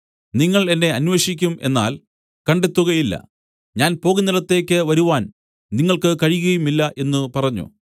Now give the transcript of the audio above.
നിങ്ങൾ എന്നെ അന്വേഷിക്കും എന്നാൽ കണ്ടെത്തുകയില്ല ഞാൻ പോകുന്നിടത്തേക്ക് വരുവാൻ നിങ്ങൾക്ക് കഴിയുകയുമില്ല എന്നു പറഞ്ഞു